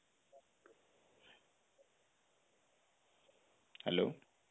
hello